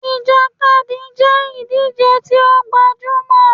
Ìjàkadì jẹ́ ìdíje tí ó gbajúmọl